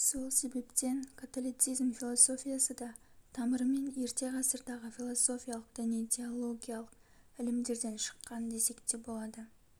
сол себептен католицизм философиясы да тамырымен ерте ғасырдағы философиялық діни теологиялық ілімдерден шыққан десек те болады